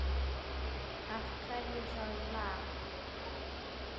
Af hverju það lag?